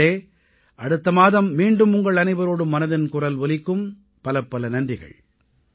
நண்பர்களே அடுத்த மாதம் மீண்டும் உங்கள் அனைவரோடும் மனதின் குரல் ஒலிக்கும் பலப்பல நன்றிகள்